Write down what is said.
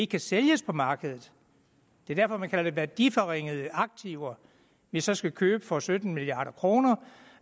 kan sælges på markedet det er derfor man kalder det værdiforringede aktiver vi så skal købe for sytten milliard kroner